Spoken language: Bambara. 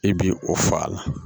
I bi o fɔ a la